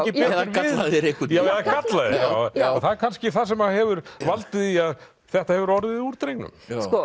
gallaðir einhvern veginn eða gallaðir og það er kannski það sem hefur valdið því að þetta hefur orðið úr drengnum